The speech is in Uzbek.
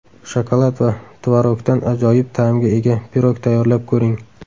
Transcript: Shokolad va tvorogdan ajoyib ta’mga ega pirog tayyorlab ko‘ring.